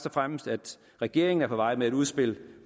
og fremmest at regeringen er på vej med et udspil